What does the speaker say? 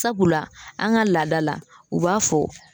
Sabula an ga laada la u b'a fɔ